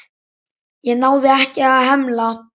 Ég náði ekki að hemla.